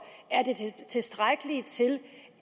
er tilstrækkeligt til